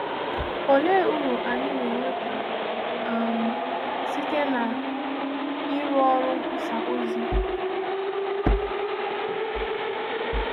Òlee uru anyị na-enweta um site n’ịrụ ọrụ nkwusà ozi?